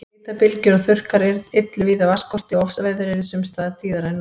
Hitabylgjur og þurrkar yllu víða vatnsskorti og ofsaveður yrðu sums staðar tíðari en nú.